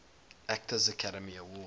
actor academy award